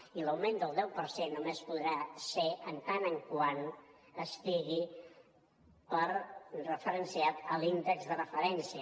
i l’augment del deu per cent només podrà ser en tant que estigui referenciat a l’índex de referència